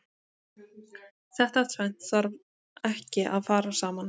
Þetta tvennt þarf ekki að fara saman.